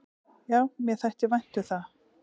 """Já, mér þætti vænt um það."""